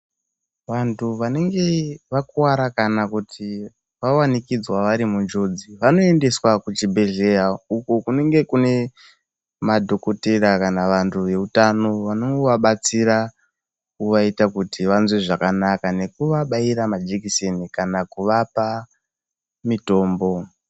Vantu vanenge vakuwara kana kuti vawanikidzwa vari munjodzi, vanoendeswa kuchibhedhlera, uko kunenge kune madhokodheya kana vantu veutano, vanovabatsira kuvaita kuti vanzwe zvakanaka nekuvabaira majekiseni kana kuvapa mitombo.